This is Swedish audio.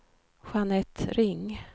Jeanette Ring